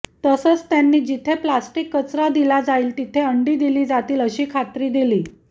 तसंच त्यांनी जिथे प्लास्टिक कचरा दिला जाईल तिथे अंडी दिली जातील अशी खात्री दिली